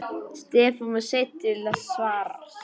Stefán var seinn til svars.